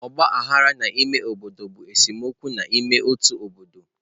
Ọgba aghara n'ime obodo bụ esemokwu n'ime otu obodo.